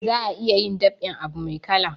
Za a iya dab'in abu mai kala